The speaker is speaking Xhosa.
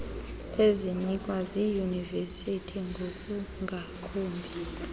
ezinikwa ziiyunivesiti ngokungakumbi